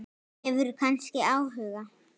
Hefurðu kannski áhuga?